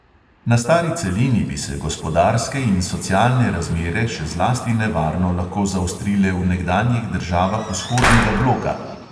Na stari celini bi se gospodarske in socialne razmere še zlasti nevarno lahko zaostrile v nekdanjih državah vzhodnega bloka.